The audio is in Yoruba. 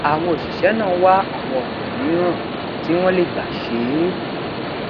àwọn òṣìṣé náà wá àwọn ònà mìíràn tí wón lè gbà ṣe é